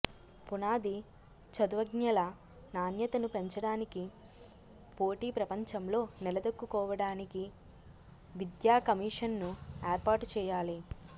పునాది చదువ్ఞల నాణ్యతను పెంచడానికి పోటీ ప్రపంచంలో నిలదొక్కుకోవడానికి విద్యాకమిషన్నుఏర్పాటు చేయా లి